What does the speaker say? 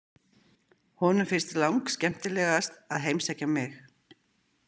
Honum finnst langskemmtilegast að heimsækja mig.